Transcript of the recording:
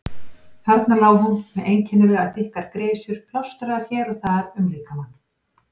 Þarna lá hún með einkennilega þykkar grisjur plástraðar hér og þar um líkamann.